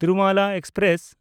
Tirumala express